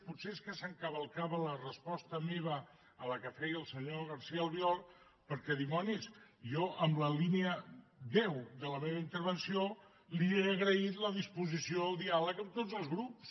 potser és que s’encavalcava la resposta meva amb la que feia al senyor garcía albiol perquè dimonis jo en la línia deu de la meva intervenció li he agraït la disposició al diàleg amb tots els grups